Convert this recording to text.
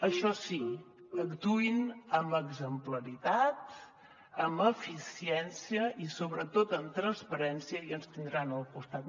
això sí actuïn amb exemplaritat amb eficiència i sobretot amb transparència i ens tindran al costat